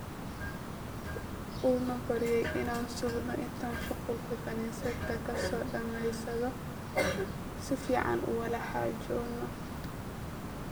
Uu na baryey inay sugno inti shugulka kanisadha kadameysadho sifaan uwalaxajono.